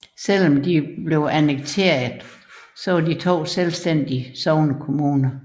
Trods annekteringen var de to selvstændige sognekommuner